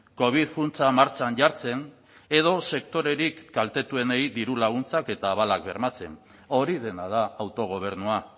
covid funtsa martxan jartzen edo sektorerik kaltetuenei diru laguntzak eta abalak bermatzen hori dena da autogobernua